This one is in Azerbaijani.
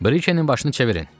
Brikenin başını çevirin.